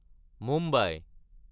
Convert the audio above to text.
Mumbai